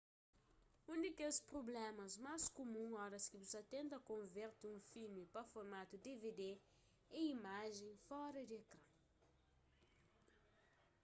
un di kes prublémas más kumun oras ki bu sa ta tenta konverte un filmi pa formatu dvd é imajen fora di ekran